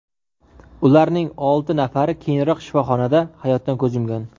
Ularning olti nafari keyinroq shifoxonada hayotdan ko‘z yumgan.